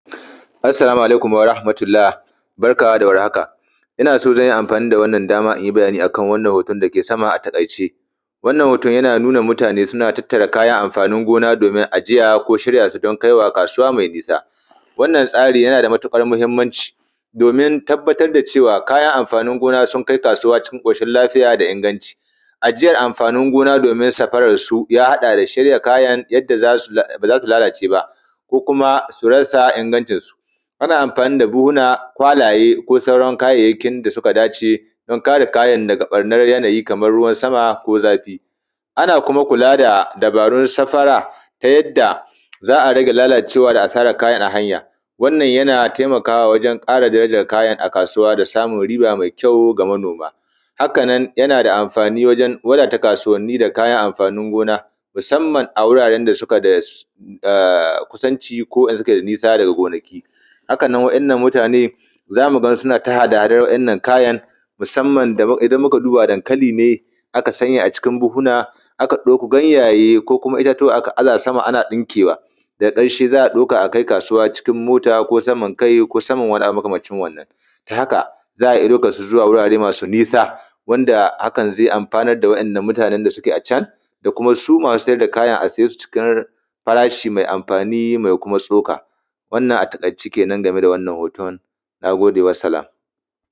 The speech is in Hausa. assalamu alaikum wa rahmatullah barka da war haka ina so zan yi amfani da wannan dama in yi bayani a kan wannan hoton da ke sama a taƙaice wannan ho:ton yana nuna mutane suna tattara kayan amfanin gona domin ajiya ko shirya su don kaiwa kasuwa mai nisa wannan tsari yana da matuƙar muhimmanci domin tabbatar da cewa kayan amfanin gona sun kai kasuwa cikin ƙoshi lafiya da inganci ajiyar amfanin gona domin saɸararsu ya haɗa da shirya kayan yadda ba za su lalace ba ko kuma su rasa ingancinsu ana amfani da buhunhuna kwalaye ko sauran kayayyakin da suka dace don kare kayan daga ɓarnar yanayi kamar ruwan sama ko zafi ana kuma kula da dabarun safara ta yadda za a rage lalacewa da asarar kayan a hanya wannan yana taimakawa wajen ƙara darajar kayan a kasuwa da samun riba mai kyau ga manoma haka nan yana da amfani wajen wadata kasuwanni da kayan amfanin gona musamman a wuraren da suke da kusanci ko suke da nisa daga gonaki hakan nan wa’yannan mutane za mu ga suna ta hada hadar waɗannan kayan musamman idan muka duba dankali ne aka sanya a cikin buhuna aka ɗauko ganyaye ko kuma itatuwa aka aza sama ana ɗinkewa daga ƙarshe za a ɗauka a kai kasuwa cikin mota ko saman kai ko saman wani abu makamancin wannan ta haka za a iya ɗaukarsu zuwa wurare masu nisa wanda hakan zai amfanar da waɗannan mutanen da suke a can da kuma su masu sai da kayan a siye su a cikin farashi mai amfani mai kuma tsoka: wannan a taƙaice kenan game da wannan hoton na gode wassalam